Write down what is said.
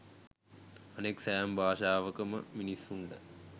අනෙක් සෑම භාෂාවකම මිනිස්සුන්ට